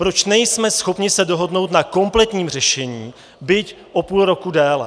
Proč nejsme schopni se dohodnout na kompletním řešení, byť o půl roku déle?